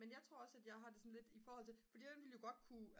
men jeg tror også at jeg har det sådan lidt i forhold til fordi man ville jo godt kunne